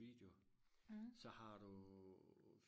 video så har du